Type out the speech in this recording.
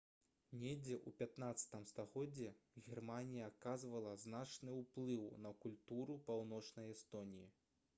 недзе ў 15-м стагоддзі германія аказвала значны ўплыў на культуру паўночнай эстоніі